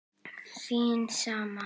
Þín sama